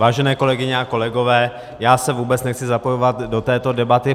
Vážené kolegyně a kolegové, já se vůbec nechci zapojovat do této debaty.